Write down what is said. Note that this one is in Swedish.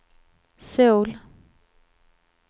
Söul